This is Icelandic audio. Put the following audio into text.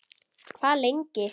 Hvað lengi